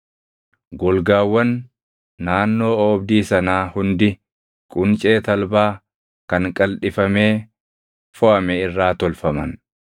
Golgaawwan naannoo oobdii sanaa hundi quncee talbaa kan qaldhifamee foʼame irraa tolfaman.